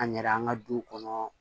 An yɛrɛ an ka du kɔnɔ